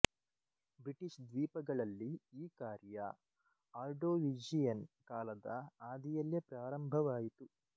British ದ್ವೀಪಗಳಲ್ಲಿ ಈ ಕಾರ್ಯ ಆರ್ಡೊವಿಶಿಯನ್ ಕಾಲದ ಆದಿಯಲ್ಲೇ ಪ್ರಾರಂಭವಾಯಿತು